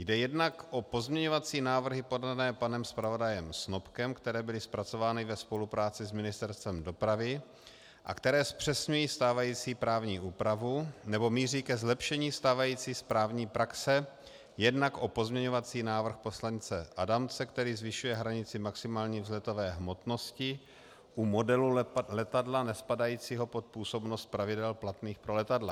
Jde jednak o pozměňovací návrhy podané panem zpravodajem Snopkem, které byly zpracovány ve spolupráci s Ministerstvem dopravy a které zpřesňují stávající právní úpravu nebo míří ke zlepšení stávající správní praxe, jednak o pozměňovací návrh poslance Adamce, který zvyšuje hranici maximální vzletové hmotnosti u modelu letadla nespadajícího pod působnost pravidel platných pro letadla.